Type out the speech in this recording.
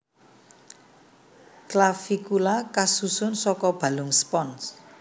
Clavicula kasusun saka balung spons